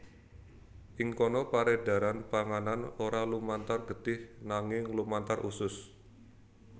Ing kono peredaran panganan ora lumantar getih nanging lumantar usus